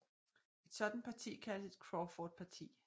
Et sådant parti kaldes et crawfordparti